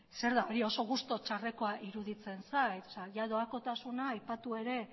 zer da hori oso gustu txarreko iruditzen zait doakotasuna aipatu ere